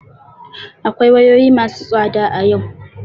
Akwai wayoyi masu tsada a yau.